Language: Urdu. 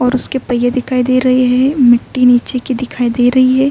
اور اسکے پہیے دکھائی دے رہے ہے۔ مٹتی نیچے کی دکھائی دے رہی ہے۔